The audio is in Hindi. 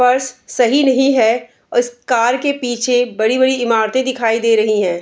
पर्स सही नही है इस कार के पीछे बड़ी-बड़ी इमारतें दिखाई दे रही है।